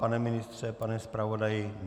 Pane ministře, pane zpravodaji?